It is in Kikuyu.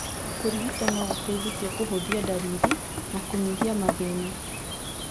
Kũrigito no gũteithie kũhũthia ndariri na kũnyihia mathĩna.